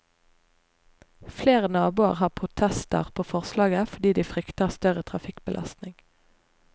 Flere naboer har protester på forslaget, fordi de frykter større trafikkbelastning.